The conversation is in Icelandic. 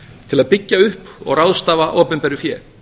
til að byggja upp og ráðstafa opinberu fé